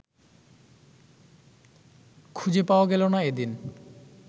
খুঁজে পাওয়া গেল না এদিন